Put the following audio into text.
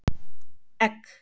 Egg